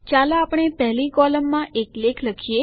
ચાલો આપણે પહેલી કોલમમાં એક લેખ લખીએ